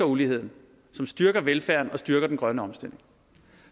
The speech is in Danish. uligheden som styrker velfærden og styrker den grønne omstilling